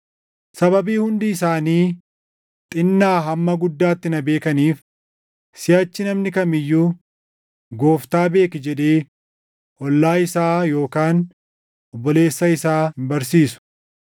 Sababii hundi isaanii, xinnaa hamma guddaatti na beekaniif, siʼachi namni kam iyyuu, ‘Gooftaa beeki’ jedhee, ollaa isaa yookaan obboleessa isaa hin barsiisu.